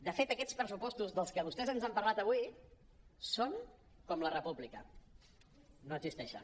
de fet aquestes pressupostos dels que vostès ens han parlat avui són com la república no existeixen